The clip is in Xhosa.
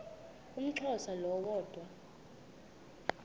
umxhosa lo woda